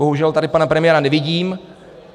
Bohužel tady pana premiéra nevidím.